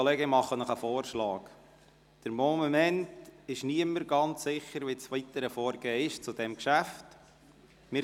Ich mache Ihnen einen Vorschlag, denn im Moment ist niemand ganz sicher, wie das weitere Vorgehen in diesem Geschäft ist.